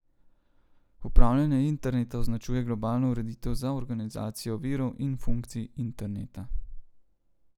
Upravljanje interneta označuje globalno ureditev za organizacijo virov in funkcij interneta.